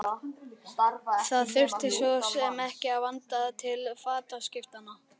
Það þurfti svo sem ekki að vanda til fataskiptanna.